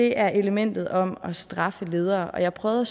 er elementet om at straffe ledere og jeg prøvede